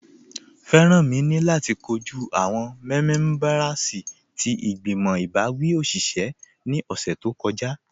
Feranmi ni lati kọju awọn mẹ̀mẹ̀bẹ̀rsì ti igbimọ̀ ibawi oṣiṣẹ̀ ni ọṣẹ̀ tó kọja